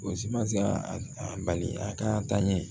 O si ma se ka a bali a ka taɲɛ